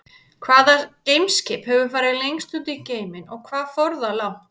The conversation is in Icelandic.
Hvaða geimskip hefur farið lengst út í geiminn og hvað fór það langt?